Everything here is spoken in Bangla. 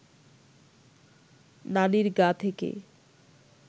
নানির গা থেকে